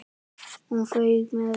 Hún fauk með öllu.